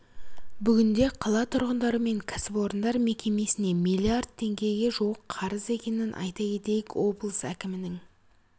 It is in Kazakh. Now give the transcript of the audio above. бүгінде қала тұрғындары мен кәсіпорындар мекемесіне миллиард теңгеге жуық қарыз екенін айта кетейік облыс әкімінің